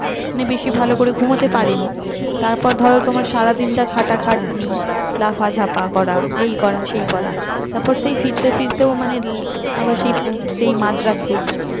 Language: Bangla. বেশি ভালো করে ঘুমোতে পারেনি তারপর ধরো তোমার সারাদিনটা খাটা খাটনি লাফা ঝাপা করা এই করা সেই করা তারপর সেই ফিরতে ফিরতে মানে আবার সেই সেই মাঝরাত্রি